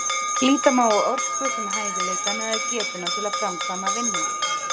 Líta má á orku sem hæfileikann eða getuna til að framkvæma vinnu.